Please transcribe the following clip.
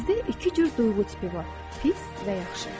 Sizdə iki cür duyğu tipi var: pis və yaxşı.